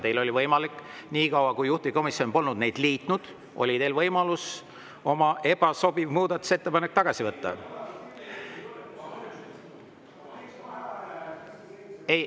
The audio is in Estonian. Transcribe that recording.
Teil oli võimalik nii kaua, kui juhtivkomisjon polnud neid liitnud, oma ebasobiv muudatusettepanek tagasi võtta.